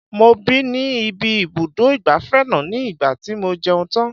Mo bì ní ibi ibùdó ìgbafẹ́ náà ní ìgbà tí mo jẹun tán.